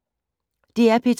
DR P2